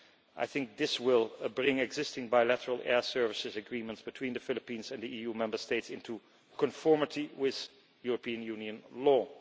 I think this will bring existing bilateral air services agreements between the Philippines and the EU Member States into conformity with European Union law.